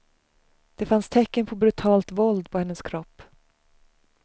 Det fanns tecken på brutalt våld på hennes kropp.